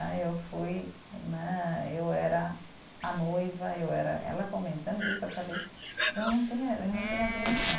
Né, eu fui né, eu era a noiva, eu era, ela comentando isso, eu falei, eu não tenho eh, eu não tenho a dimensão.